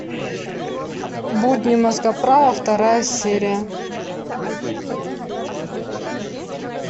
будни мозгоправа вторая серия